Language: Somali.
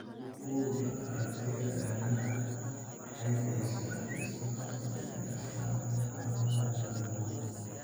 Bugga Aragtiyaha Aadanaha waxay bixisaa liiska soo socda ee astaamaha iyo calaamadaha cillada bugaa .